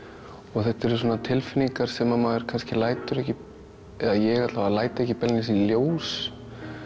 og þetta eru svona tilfinningar sem maður lætur kannski eða ég allavega læt ekki beinlínis í ljós